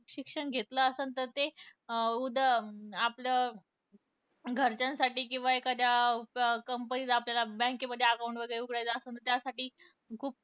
शिक्षण घेतलं असल तर ते आपल घरच्यांसाठी किंवा एखाद्या company त आपल्याला bank मध्ये account वैगरे उघडायचे असेल त्यासाठी खूप